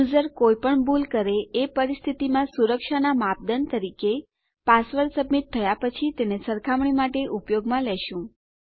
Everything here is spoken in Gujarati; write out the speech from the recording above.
યુઝર કોઈપણ ભૂલ કરે એ પરિસ્થિતિમાં સુરક્ષાના માપદંડ તરીકે પાસવર્ડ સબમિટ થયા પછી તેને સરખામણી માટે ઉપયોગમાં લેશું